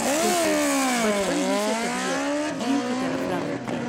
چوں کہ بچپن ہی سے طبیعت دین کی طرف راغب تھی ۔